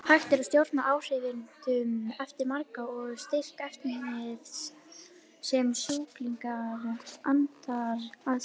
Hægt er að stjórna áhrifunum eftir magni og styrk efnis sem sjúklingur andar að sér.